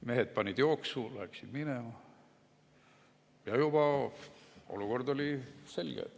Mehed panid jooksu, läksid minema ja olukord oli selge.